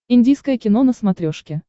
индийское кино на смотрешке